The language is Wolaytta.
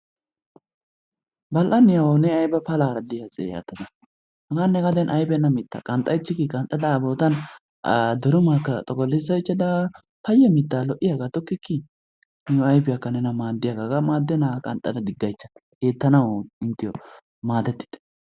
Bal"aniyaawawu ne ayba palaara d'iyaa asee yaatada ne ne gaden ayfenna mittaa qanxxaychikii qanxxada a durumaakka xoqqolissaychada paya mittaa lo"iyaaga tokkiki ayfiyaaka nena maaddiyaagaa hagaa maadenaaga qanxxada diggaychcha. Eettanawu inttiyoo maadetitte.